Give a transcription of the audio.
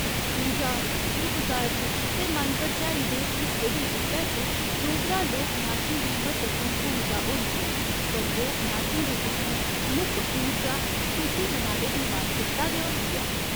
पूजा, शुभ कारज ते मन भरचाई दे हिस्से दे रूपै च डोगरा लोक नाचें दी म्हत्तवपूर्ण भूमिका होंदी ऐ पर लोक नाचें दे पिच्छें मुक्ख ऊर्जा खुशी मनाने दी मानसिकता गै होंदी ऐ।